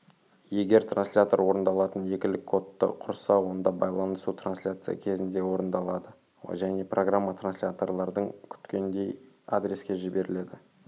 егер транслятор орындалатын екілік кодты құрса онда байланысу трансляция кезінде орындалады және программа трансляторлардың күткендей адреске жіберіледі